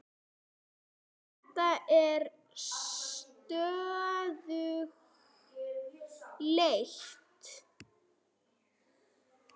Þetta er stöðug leit!